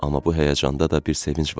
Amma bu həyəcanda da bir sevinc vardı.